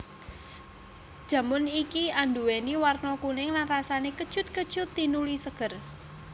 Jamun iki anduwèni warna kuning lan rasané kecut kecut tinuli seger